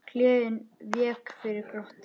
Gleðin vék fyrir glotti.